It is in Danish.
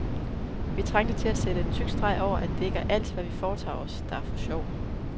Vi trængte til at sætte en tyk streg over, at det ikke er alt, hvad vi foretager os, der er for sjov.